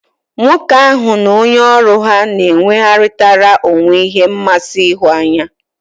Nwoke ahu n'onye oru ha n'enwegharitara onwe he nmasi ihunanya